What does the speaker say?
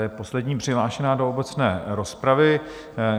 Je poslední přihlášená do obecné rozpravy.